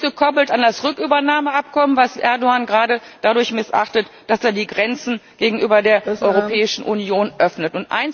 Die ist gekoppelt an das Rückübernahmeabkommen, das Erdoğan gerade dadurch missachtet, dass er die Grenzen gegenüber der Europäischen Union öffnet.